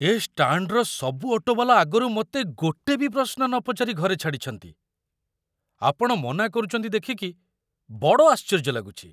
ଏ ଷ୍ଟାଣ୍ଡର ସବୁ ଅଟୋ ବାଲା ଆଗରୁ ମତେ ଗୋଟେ ବି ପ୍ରଶ୍ନ ନପଚାରି ଘରେ ଛାଡ଼ିଚନ୍ତି, ଆପଣ ମନା କରୁଚନ୍ତି ଦେଖିକି ବଡ଼ ଆଶ୍ଚର୍ଯ୍ୟ ଲାଗୁଚି!